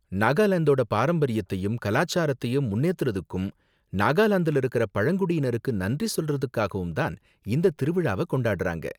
நாகாலாந்தோட பாரம்பரியத்தையும் கலாச்சாரத்தையும் முன்னேத்துறதுக்கும், நாகாலாந்துல இருக்குற பழங்குடியினருக்கு நன்றி சொல்றதுக்காகவும் தான் இந்த திருவிழாவ கொண்டாடுறாங்க.